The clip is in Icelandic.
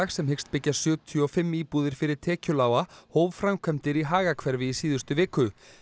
sem hyggst byggja sjötíu og fimm íbúðir fyrir tekjulága hóf framkvæmdir í í síðustu viku